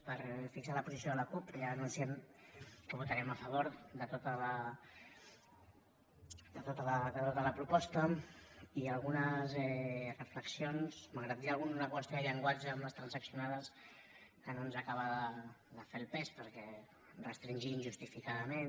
per fixar la posició de la cup que ja anunciem que votarem a favor de tota la proposta i algunes reflexions malgrat que hi ha alguna qüestió de llenguatge amb les transaccionades que no ens acaba de fer el pes perquè restringir injustificadament